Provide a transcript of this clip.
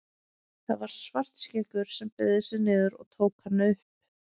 Það var Svartskeggur sem beygði sig niður og tók hann upp.